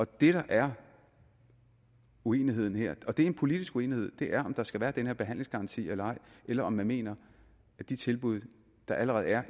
det der er uenigheden her og det er en politisk uenighed er om der skal være den her behandlingsgaranti eller ej eller om man mener at de tilbud der allerede er